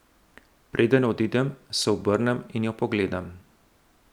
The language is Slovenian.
Preden odidem, se obrnem in jo pogledam.